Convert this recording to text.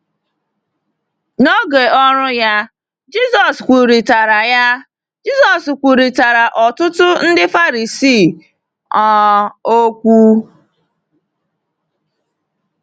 N’oge ọrụ ya, Jisọs kwurịtara ya, Jisọs kwurịtara ọtụtụ Ndị Farisii um okwu.